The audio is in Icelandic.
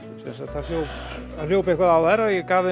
það hljóp hljóp eitthvað á þær